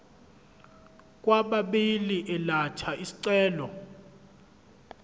kwababili elatha isicelo